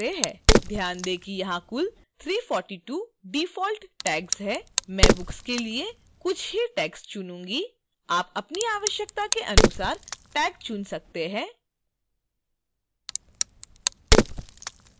ध्यान दें कि यहाँ कुल 342 default tags हैं मैं books के लिए कुछ ही tags चुनूँगी आप अपनी आवश्यकता के अनुसार tags चुन सकते हैं